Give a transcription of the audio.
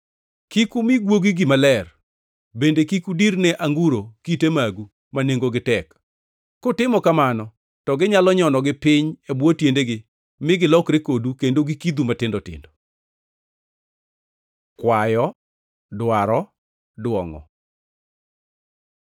“Kik umi guogi gima ler; bende kik udir ne anguro kite magu ma nengogi tek. Kutimo kamano to ginyalo nyonogi piny e bwo tiendegi mi gilokre kodu kendo gikidhu matindo tindo. Kwayo, dwaro, dwongʼo